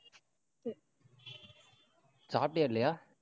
சாப்பிட்டியா, இல்லையா?